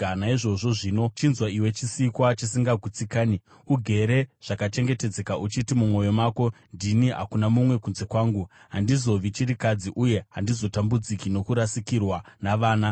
Naizvozvo zvino, chinzwa, iwe chisikwa chisingagutsikani, ugere zvakachengetedzeka, uchiti, mumwoyo mako, “Ndini, hakuna mumwe kunze kwangu. Handizovi chirikadzi, uye handizotambudziki nokurasikirwa navana.”